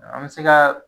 An bɛ se ka